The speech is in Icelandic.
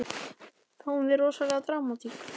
Fáum við rosalega dramatík?